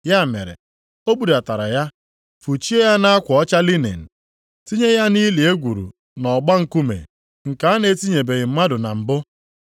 Ya mere, o budatara ya fụchie ya nʼakwa ọcha linin, tinye ya nʼili e gwuru nʼọgba nkume, nke a na-etinyebeghị mmadụ na mbụ.